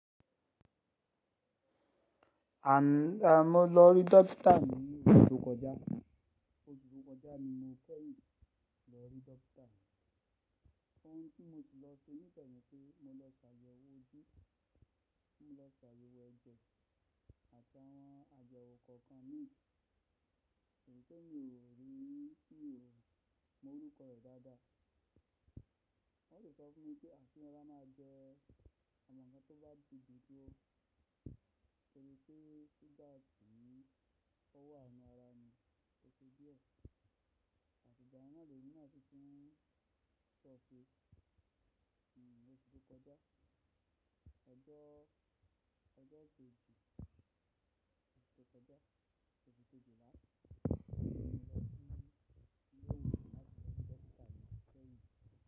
À ni mo lọ rí dọkítà ní oṣù tó kọjá, oṣù tó kọjá ni mo kẹ́yìn lọ rí dọkítà. Òhun tí mo ṣi lọ ṣe nígbẹ̀mí pé mo lọ ṣàyẹ̀wò ojú, mo lọ ṣàyẹ̀wò ẹ̀jẹ̀ àtàwọn àyẹwò kọ̀ọ̀kan mi èyí ti mí ò rí, mi omọ orúkọ rẹ̀ dáadáa. Wọ́n sì sọ fún mi pé ki n rọra máa jẹ́ àwọn ǹkan tó bá ti dun ju ó, torí pé suga ti ó wà n nu ara mi tó ṣe díẹ̀. Àti ìgbana lèmi náà si tí n sọ ṣé ní oṣù tó kọjá, ọjọ́, ọjọ́ kejì oṣù tó kọjá, oṣù kejìlá ni mo lọ sí ilé ìwòsàn láti lọ rí dọkítà mi kẹ́yìn.